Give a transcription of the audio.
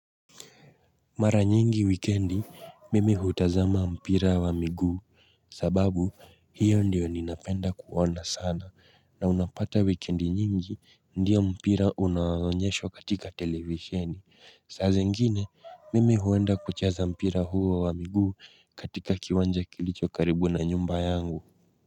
Mara nyingi wikendi mimi hutazama mpira wa miguu sababu hiyo ndiyo ninapenda kuona sana na unapata wikendi nyingi ndiyo mpira unaoonyeshwa katika televisheni. Sasa ingine mimi huenda kucheza mpira huo wa miguu katika kiwanja kilicho karibu na nyumba yangu.